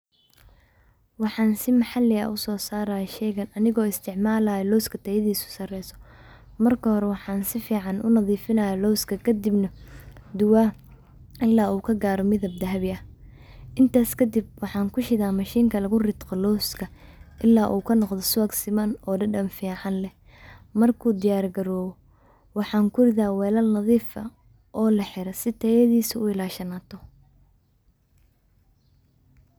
Waxan si maxali ah u soo saaraya sheygan anigu isticmaalayo looska tayadiiso saareyso, marka hore waxan si fican unadhiifinaya looska kadibna duba ila uu kagaaro midib dahabi ah, intas kadib waxan kushiida mashinka lugu riiqo looska ila u kanoqdo subag siman oo dhedhan fican leh, marku diyar gaarobo waxan kuridaa welal nadhiif ah oo laxire si tayadiisu u ilashamato.